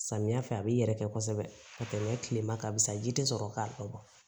Samiya fɛ a b'i yɛrɛ kɛ kosɛbɛ ka tɛmɛ kileman ka sa ji te sɔrɔ k'a